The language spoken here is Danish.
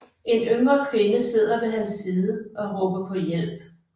En yngre kvinde sidder ved hans side og råber på hjælp